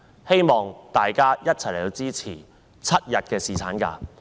希望大家一起支持7日侍產假。